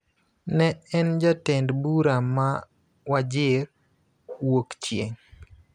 ne en jatend bura ma Wajir Wuokchieng�.